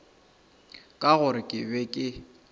ka gore ke be ke